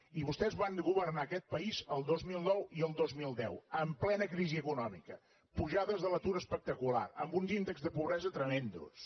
i vostès van governar aquest país el dos mil nou i el dos mil deu en plena crisi econòmica amb pujades de l’atur espectaculars amb uns índexs de pobresa tremends